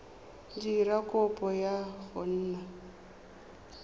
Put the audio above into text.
dira kopo ya go nna